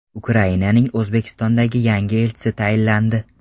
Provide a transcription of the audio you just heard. Ukrainaning O‘zbekistondagi yangi elchisi tayinlandi.